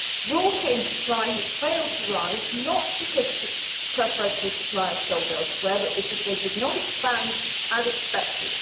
Raw cane supply has failed to rise, not because preferential suppliers sold elsewhere, but because they did not expand as expected.